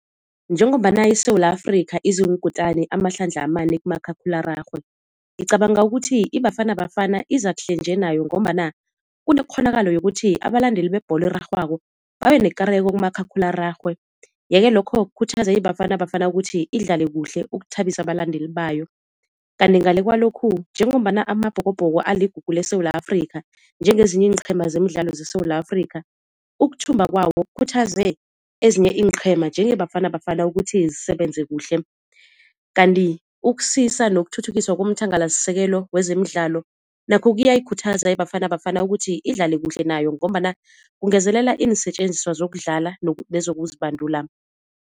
Njengombana iSewula Afrika iziinkutani amahlandla amane kumakhakhulararhwe. Ngicabanga ukuthi iBafana Bafana iza kuhle nje nayo ngombana kunekghonakala yokuthi abalandeli bebholo erarhwako babenekareko kumakhakhulararhwe, ye-ke lokho kukhuthaze iBafana Bafana ukuthi idlale kuhle ukuthabisa abalandeli bayo. Kanti ngale kwalokhu njengombana Amabhokobhoko aligugu leSewula Afrika njengezinye iinqheema zemidlalo zeSewula Afrika ukuthumba kwawo kukhuthaze ezinye iinqhema njengeBafana Bafana ukuthi zisebenze kuhle. Kanti ukusisa nokuthuthukiswa komthangalasisekelo wezemidlalo nakho kuyayikhuthaza iBafana Bafana ukuthi idlale kuhle nayo ngombana kungezelela iinsetjenziswa zokudlala nezokuzibandula.